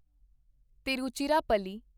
Tiruchirappalli